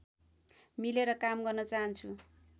मिलेर काम गर्न चाहन्छु